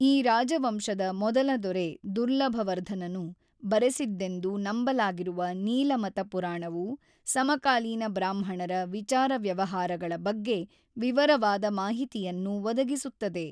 ಈ ರಾಜವಂಶದ ಮೊದಲ ದೊರೆ ದುರ್ಲಭವರ್ಧನನು ಬರೆಸಿದ್ದೆಂದು ನಂಬಲಾಗಿರುವ ನೀಲಮತ ಪುರಾಣವು ಸಮಕಾಲೀನ ಬ್ರಾಹ್ಮಣರ ವಿಚಾರ-ವ್ಯವಹಾರಗಳ ಬಗ್ಗೆ ವಿವರವಾದ ಮಾಹಿತಿಯನ್ನು ಒದಗಿಸುತ್ತದೆ.